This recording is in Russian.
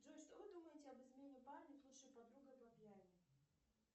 джой что вы думаете об измене парня с лучшей подругой по пьяне